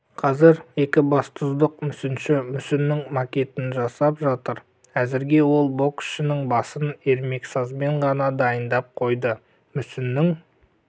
қазір екібастұздық мүсінші мүсіннің макетін жасап жатыр әзірге ол боксшының басын ермексазбен ғана дайындап қойды мүсіннің